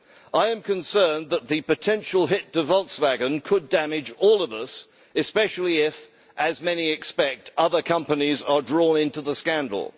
I am concerned that the potential hit to Volkswagen could damage all of us, especially if, as many expect, other companies are drawn into the scandal.